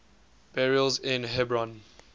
burials in hebron